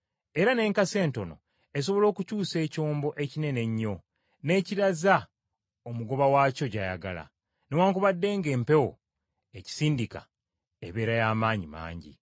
Era n’enkasi entono esobola okukyusa ekyombo ekinene ennyo n’ekiraza omugoba waakyo gy’ayagala, newaakubadde ng’empewo ekisindika ebeera ya maanyi mangi.